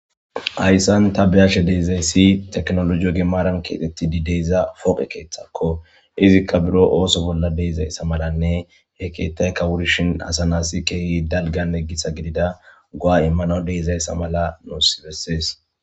Hayssan ta be7ashe dizayssi tekinoloje gimaran keexetifi de7iza pooqe keeththakko Izi buro ooso bolla de7izayssa malanne he keeththaykka wurrishin asa nasi keehi dalgganne gitta gidida go7a immanaw de7izayssa mala nuusi besees.